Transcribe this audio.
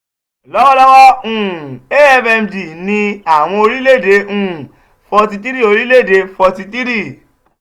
lọwọlọwọ um afmd ni awọn orilẹ-ede um forty three orilẹ-ede um forty three